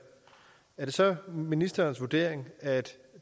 er det så ministerens vurdering at